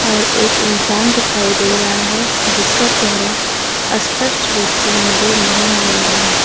और एक इंसान दिखाई दे रहा है जिसका चेहरा स्पष्ट रूप से नजर नहीं आ रहा है।